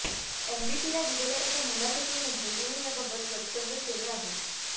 एनबीटीला दिलेल्या एका मुलाखतीमध्ये तिने याबाबत वक्तव्य केले आहे